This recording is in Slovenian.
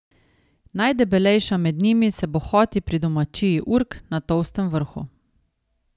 Najdebelejša med njimi se bohoti pri domačiji Urk na Tolstem vrhu.